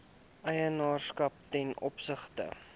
eienaarskap ten opsigte